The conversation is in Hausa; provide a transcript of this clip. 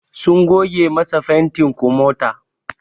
Sun goge masa fantin komata